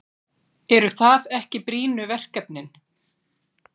Eru það ekki brýnu verkefnin?